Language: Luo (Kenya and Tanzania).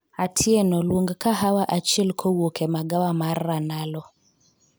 Atieno luong kahawa achiel kowuok e magawa mar ranalo